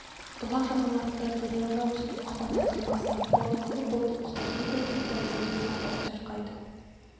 бұлақ жағаларында бұйралана өскен құба талдың басына қонып алып бұлбұл құстар не бір тәтті әуенге сап ән шырқайды